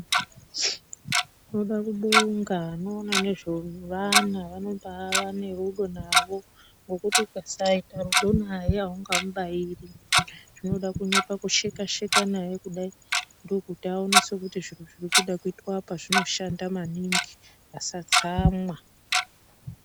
Tinoda kubonga vanoona nezvevana vanotova nerudo nawo nekuti ukasaita rudo naye aungamubairi zvinoda kuti pakusheka sheka naye kudai ndokuti aone kuti zvinoda kuitwa apa zbimoshandwa maningi asatsamwa.